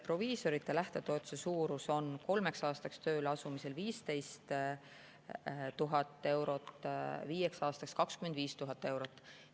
Proviisorite lähtetoetuse suurus on kolmeks aastaks tööle asumise korral 15 000 eurot, viieks aastaks 25 000 eurot.